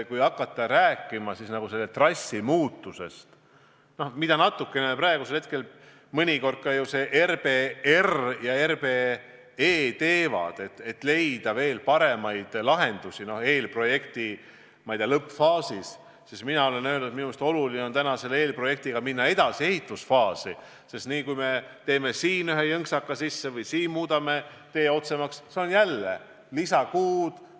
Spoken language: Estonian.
Kui hakata rääkima trassi muutmisest, mida praegusel hetkel RBR ja RBE ka natukene ju teevad, et leida paremaid lahendusi eelprojekti lõppfaasis, siis mina olen öelnud, et täna on minu meelest oluline minna eelprojektiga edasi ehitusfaasi, sest niipea, kui me teeme siin ühe jõnksaka sisse või muudame tee otsemaks, tähendab see jälle lisakuud.